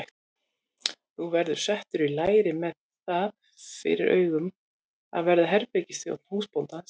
Þú verður settur í læri með það fyrir augum að verða herbergisþjónn húsbóndans.